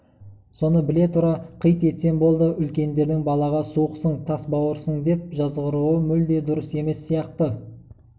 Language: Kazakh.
соны біле тұра қит етсем болды үлкендердің балаға суықсың тас бауырсыңдеп жазғыруы мүлде дұрыс емес сияқты